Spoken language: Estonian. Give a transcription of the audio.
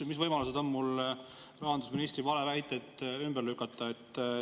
Mis võimalused on mul rahandusministri valeväiteid ümber lükata?